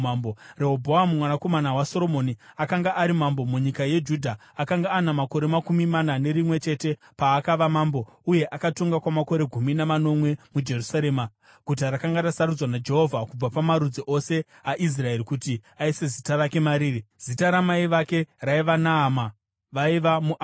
Rehobhoamu mwanakomana waSoromoni akanga ari mambo munyika yeJudha. Akanga ana makore makumi mana nerimwe chete paakava mambo, uye akatonga kwamakore gumi namanomwe muJerusarema, guta rakanga rasarudzwa naJehovha kubva pamarudzi ose aIsraeri kuti aise Zita rake mariri. Zita ramai vake raiva Naama; vaiva muAmoni.